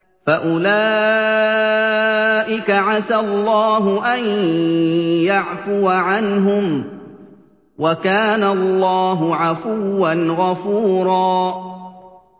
فَأُولَٰئِكَ عَسَى اللَّهُ أَن يَعْفُوَ عَنْهُمْ ۚ وَكَانَ اللَّهُ عَفُوًّا غَفُورًا